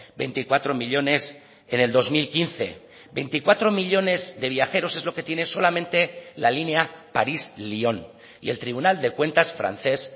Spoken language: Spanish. veinticuatro millónes en el dos mil quince veinticuatro millónes de viajeros es lo que tiene solamente la línea parís lyon y el tribunal de cuentas francés